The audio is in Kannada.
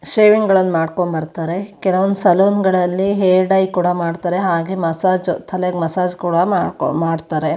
ಶೇವಿಂಗ್ ಗಳನ್ನ ಮಾಡಕೊಂಡ ಬರತ್ತರೆ ಕೆಲಒಂದ ಸಲೂನ್ ಗಳಲ್ಲಿ ಹೇರ್ ಡೈ ಕೂಡ ಮಾಡತ್ತಾರೆ ಹಾಗೆ ಮಸಾಜ್ ತಲೆಗೆ ಮಸಾಜ್ ಕೂಡ ಮಾಡಕೋ ಮಾಡ್ತಾರೆ.